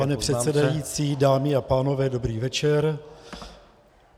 Pane předsedající, dámy a pánové, dobrý večer.